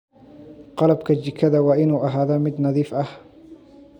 Qalabka jikada waa inuu ahaadaa mid nadiif ah.